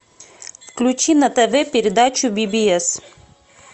включи на тв передачу би би эс